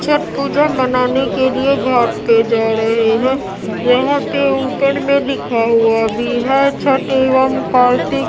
छठ पूजा मनाने के लिए घाट पे जा रहे हैं यहां पे ऊपर में लिखा हुआ भी है छठ एवं कार्तिक --